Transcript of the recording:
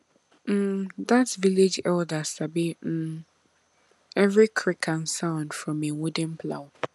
um that village elder sabi um every creak and sound from him wooden plow